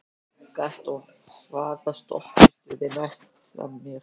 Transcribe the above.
Gaston, hvaða stoppistöð er næst mér?